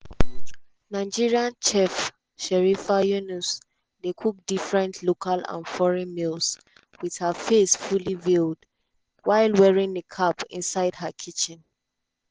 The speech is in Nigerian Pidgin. nigerian chef sherifah yunus dey cook different local and foreign meals wit her face fully veiled while wearing niqab inside her kitchen.